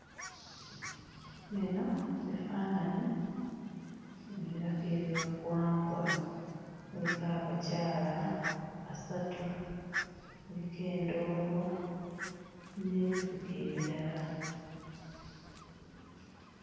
Bino bifaananyi ebiraga ebyobuwangwa, kuliko abakyala basatu, kuliko endongo n'ebivuga ebirala.